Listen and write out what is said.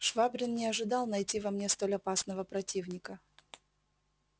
швабрин не ожидал найти во мне столь опасного противника